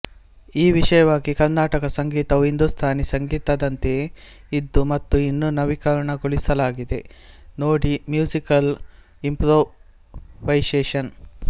ಈ ವಿಷಯವಾಗಿ ಕರ್ನಾಟಕ ಸಂಗೀತವು ಹಿಂದೂಸ್ಥಾನಿ ಸಂಗೀತದಂತೆಯೇ ಇದ್ದು ಮತ್ತು ಇನ್ನು ನವೀಕರಣಗೊಳಿಸಲಾಗಿದೆ ನೋಡಿ ಮ್ಯೂಸಿಕಲ್ ಇಂಪ್ರೋವೈಸೇಶನ್